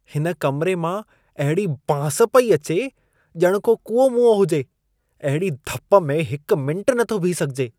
हिन कमिरे मां अहिड़ी बांस पेई अचे, ॼणु को कूओ मुओ हुजे। अहिड़ी धप में हिकु मिंटु नथो बीहु सघिजे।